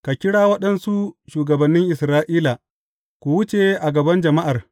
Ka kira waɗansu shugabannin Isra’ila, ku wuce a gaban jama’ar.